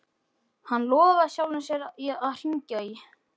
Hann lofaði sjálfum sér að hringja í